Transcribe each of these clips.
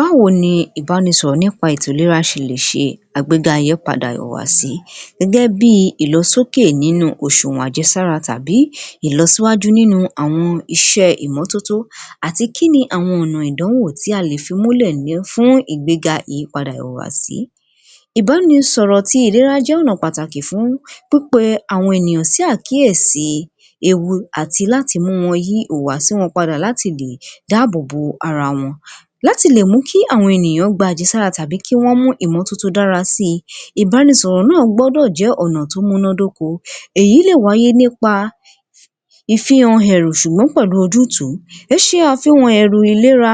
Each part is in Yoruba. Báwo ni ìbánisọ̀rọ̀ nípa ètò ìlera ṣe lè ṣe àgbéga ìyípadà ìhùwàsí? Gẹ́gẹ́ bí i ìlọsókè nínú òṣùwọn àjẹsára tàbí ìlọsíwájú nínú àwọn iṣẹ́ ìmọ́tótó àti kí ni àwọn ọ̀nà ìdánwò tí a lè fi múlẹ̀ fún ìgbéga ìyípadà ìhùwàsí. Ìbánisọ̀rọ̀ àtí ìlera jẹ́ ọ̀nà pàtàkì fún pípe àwọn ènìyàn sí àkíyèsí ewu àti láti mú wọn yí ìhùwàsí wọn padà láti lè dáàbòbò ara wọn. Láti lè mú kí àwọn ènìyàn gba àjẹsára tàbí kí wọ́n mú ìmọ́tótó dára sí i, ìbánisọ̀rọ̀ náà gbọ́dọ̀ jẹ́ ọ̀nà tó múyán dóko. Èyí lè wáyé nípa ìfihàn ẹ̀rù ṣùgbọ́n pẹ̀lú ojútùú. ẹ ṣe àfihàn ẹ̀rù ìlera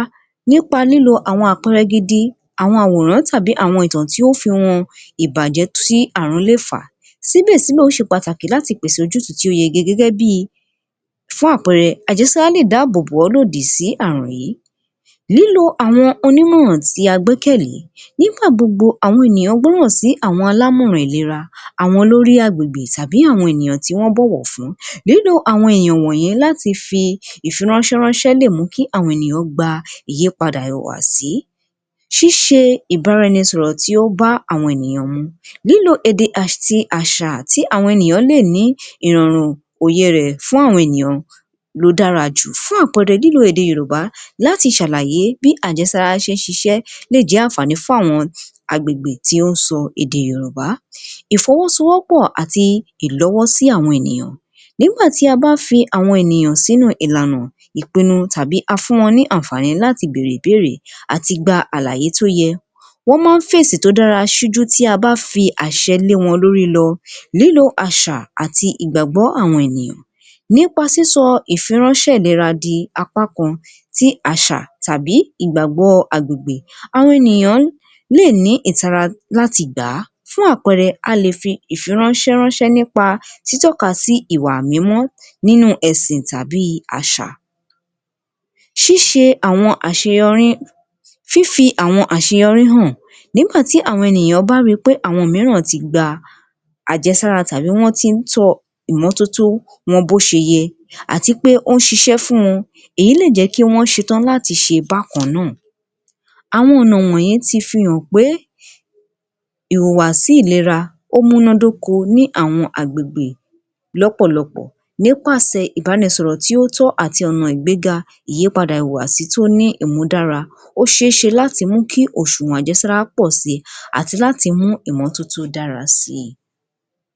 nípa lílo àwọn àpẹrẹ gidi, àwọn àwòrán tàbí àwọn ìtàn tí ó fi hàn ìbàjẹ́ tí ààrún lẹ̀ fà. Síbẹ̀síbẹ̀ ó ṣe pàtàkì láti pèsè ojútùú tó yege gẹ́gẹ́ bí i fún àpẹrẹ àjẹsára lè dáàbòbò ọ́ lòdì sí ààrùn yìí. Lílo àwọn onímọ̀ràn tí a gbẹ́kẹ̀lé, nígbàgbogbo àwọn ènìyàn gbọ́ràn sí àwọn alámọ̀ràn ìlera, àwọn olórí agbègbè tàbí àwọn tí wọ́n bọ̀wọ̀ fún. Nínú àwọn ènìyàn wọ̀nyí láhti fi ìfiránṣẹ́ ránṣẹ́ lè mú kí àwọn ènìyàn gba ìyípadà ìhùwàsí. ṣíṣe ìbánisọ̀rọ̀ tó bá àwọn ènìyàn mu nínú èdè àti àṣà tí àwọn ènìyàn lè ní èrò òye rẹ̀ fún àwọn ènìyàn ló dára jù fún àpẹrẹ ní èdè yorùbá láti ṣàlàyé bí àjẹsára ṣe ń ṣiṣẹ́ lè jẹ́ àǹfàní fún àwọn agbègbè tó ń sọ èdè yorùbá. Ìfọwọ́sowọ́pọ̀ àti ilọwọ́sí àwọn ènìyàn. Nígbà tí a bá fi àwọn ènìyàn sínú ìlànà, ìpinnu tàbí a fún wọn ní àǹfàní láti bèrè ìbéèrè àti gba àlàyé tó yẹ, wọ́n máa ń fèsì tó dára tí a bá fi àṣẹ lé wọn lórí lọ. Lílo àṣà àti ìgbàgbọ́ àwọn ènìyàn, nípa sísọ ìfiránṣẹ́ ìlera di apá kan tí àṣà tàbí ìgbàgbọ́ agbègbè. Àwọn ènìyàn lè ní ìtara láti gbà á. Fún àpẹrẹ a lè fi ìfiránṣẹ ránṣẹ́ nípa títọ́ka sí ìwà mímọ́ nínú ẹ̀sìn tàbí àṣà. ṣíṣe àwọn àṣeyọrí, fífi àwọn àṣeyọrí hàn, nígbà tí àwọn ènìyàn bá ri pé àwọn mìíràn ti gba àjẹsára àbí wọ́n ti ń tọ ìmọ́tótó wọn bó ṣe yẹ àti pé ó ń ṣiṣẹ́ fún wọn èyí lè jẹ́ kí wọ́n ṣe tán láti ṣe bákan náà. Àwọn ọ̀nà wọ̀nyí ti fi hàn pé ìhùwàsí ìlera ó múná d’óko ní àwọn agbègbè lọ́pọ̀lọpọ̀ nípàsẹ̀ ìbánisọ̀rọ̀ tí ó tọ́ àtì ọ̀nà ìgbéga ìyípàdà ìhùwàsí tó ní ìmúdára, ó ṣe é ṣe láti mú kí òṣùwọ̀n àjẹsára pọ̀ si àti láti mú ìmọ́tótó dára sí i.